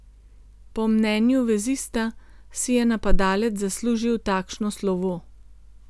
Po mnenju vezista, si je napadalec zaslužil takšno slovo.